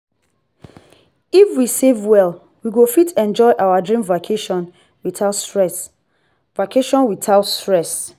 if we save well we go fit enjoy our dream vacation without stress. vacation without stress.